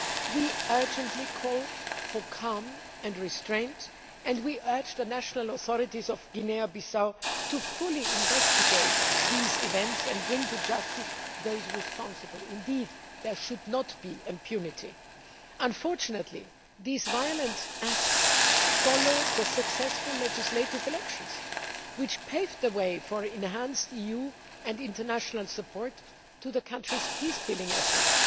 We urgently call for calm and restraint, and urge the national authorities of Guinea Bissau to fully investigate these events and bring to justice those responsible. There should be no impunity. Unfortunately, these violent acts follow the successful legislative elections, which paved the way for enhanced EU and international support for the country's peace building efforts.